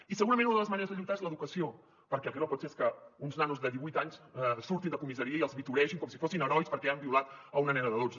i segurament una de les maneres de lluitar és l’educació perquè el que no pot ser és que uns nanos de divuit anys surtin de comissaria i els victoregin com si fossin herois perquè han violat una nena de dotze